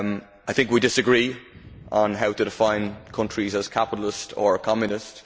I think we disagree on how to define countries as capitalist or communist.